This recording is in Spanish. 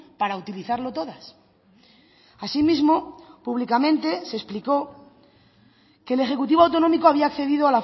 para utilizarlo todas asimismo públicamente se explicó que el ejecutivo autonómico había accedido